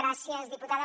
gràcies diputada